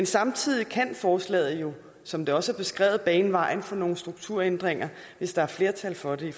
samtidig kan forslaget jo som det også er beskrevet bane vejen for nogle strukturændringer hvis der er flertal for det